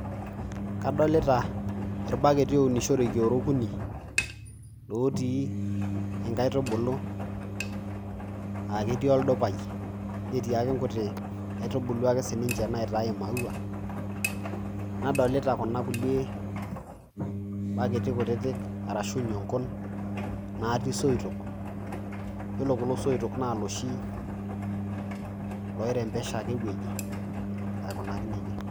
Kadolita irbaketi ounishoreki oora okuni otii nkaitubulu aake eti oldupai, netii ake nkuti aitubulu ake sininje naitaii i maua, nadolita kuna kulie baketi kutitik arashu nyonkon natii soitok, iyiolo kulo soitok naa loshi loi rembesha ake ewoji aikunaki neja.